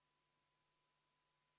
Kuulutan välja vaheaja hääletamiseks.